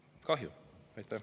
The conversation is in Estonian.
Kahju!